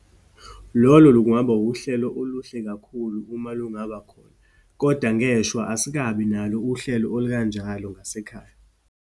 Lolo lungaba uhlelo oluhle kakhulu uma lungaba khona. Kodwa ngeshwa, asikabi nalo uhlelo olukanjalo ngasekhaya.